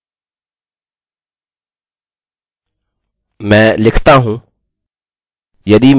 पहली जाँच मैं यह करना चाहता हूँ कि देखना चाहता हूँ यदि मेरे पासवर्ड्स मेल खाते हैं